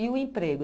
E o emprego?